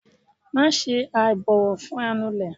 maṣe aibọwọ fun anulè